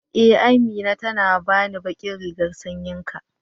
e, Amina ta bani ɓaƙin rigan sanƴin ka.